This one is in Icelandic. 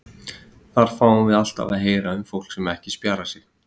Þá fáum við alltaf að heyra um fólk sem ekki spjarar sig.